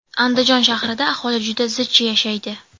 Andijon shahrida aholi juda zich yashaydi.